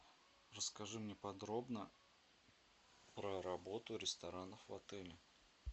расскажи мне подробно про работу ресторанов в отеле